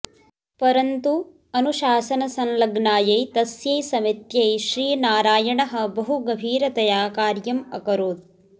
परन्तु अनुशासनसल्लग्नायै तस्यै समित्यै श्रीनारायणः बहुगभीरतया कार्यम् अकरोत्